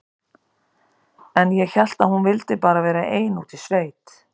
En ég hélt að hún vildi bara vera ein úti í sveit.